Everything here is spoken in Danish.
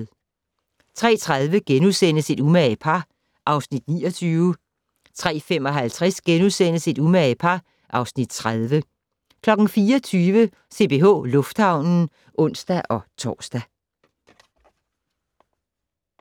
03:30: Et umage par (Afs. 29)* 03:55: Et umage par (Afs. 30)* 04:20: CPH Lufthavnen (ons-tor)